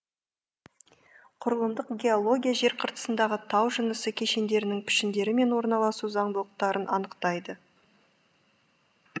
құрылымдық геология жер қыртысындағы тау жынысы кешендерінің пішіндері мен орналасу заңдылықтарын анықтайды